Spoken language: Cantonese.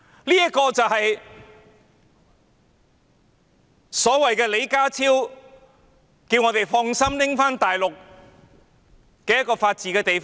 這個正是李家超局長叫我們可以放心其法治的地方。